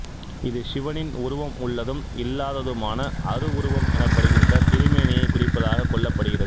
இது சிவனின் உருவம் உள்ளதும் இல்லாததுமான அருவுருவம் எனப்படுகின்ற திருமேனியைக் குறிப்பதாகக் கொள்ளப்படுகிறது